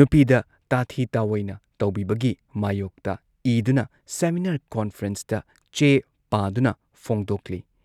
ꯅꯨꯄꯤꯗ ꯇꯥꯊꯤ ꯇꯥꯑꯣꯏꯅ ꯇꯧꯕꯤꯕꯒꯤ ꯃꯥꯌꯣꯛꯇ ꯏꯗꯨꯅ, ꯁꯦꯃꯤꯅꯥꯔ ꯀꯣꯟꯐ꯭ꯔꯦꯟꯁꯇ ꯆꯦ ꯄꯥꯗꯨꯅ ꯐꯣꯡꯗꯣꯛꯂꯤ ꯫